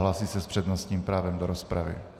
Hlásí se s přednostním právem do rozpravy.